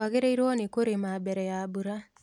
Twagĩrĩirwo nĩ kũrĩma mbere ya mbura